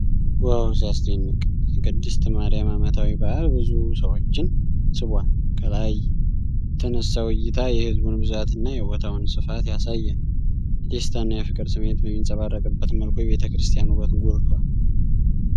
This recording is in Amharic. ዋው፣ ሲያስደንቅ! የቅድስት ማርያም ዓመታዊ በዓል ብዙ ሰዎችን ስቧል። ከላይ የተነሳው ዕይታ የሕዝቡን ብዛትና የቦታውን ስፋት ያሳያል። የደስታና የፍቅር ስሜት በሚንጸባረቅበት መልኩ፣ የቤተ ክርስቲያኑ ውበት ጎልቷል።